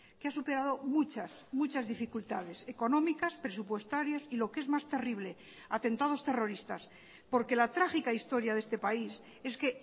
que ha superado muchas muchas dificultades económicas presupuestarias y lo que es más terrible atentados terroristas porque la trágica historia de este país es que